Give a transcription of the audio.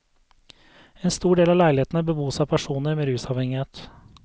En stor del av leilighetene bebos av personer med rusavhengighet.